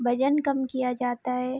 वजन कम किया जाता है।